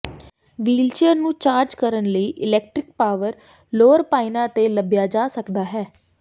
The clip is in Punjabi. ਵ੍ਹੀਲਚੇਅਰ ਨੂੰ ਚਾਰਜ ਕਰਨ ਲਈ ਇਲੈਕਟ੍ਰਿਕ ਪਾਵਰ ਲੋਅਰ ਪਾਇਨਾਂ ਤੇ ਲੱਭਿਆ ਜਾ ਸਕਦਾ ਹੈ